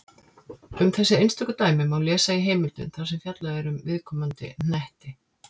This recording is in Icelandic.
Um þessi einstöku dæmi má lesa í heimildum þar sem fjallað er um viðkomandi hnetti.